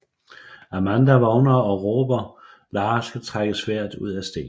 Amanda vågner og råber Lara skal trække sværdet ud af stenen